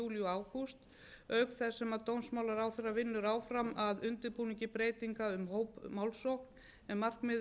og ágúst auk þess sem dómsmálaráðherra vinnur áfram að undirbúningi breytinga um hópmálssókn á markmiðið er að